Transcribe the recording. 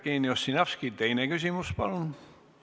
Jevgeni Ossinovski, teine küsimus palun!